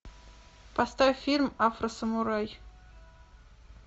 поставь фильм афросамурай